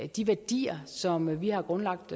de værdier som vi har grundlagt